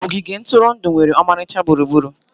Ogige ntụrụndụ nwere ọmarịcha gburugburu.